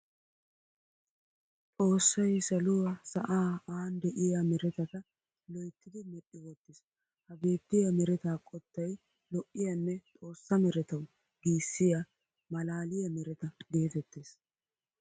Xoossay saluaa, sa'aa aani de'iyaa meretata loyttidi medhdhi wottiis. Ha beettiya mereta qottay lo'iyaanne xossa meretawu giissiya mallaliya mereta geetettes.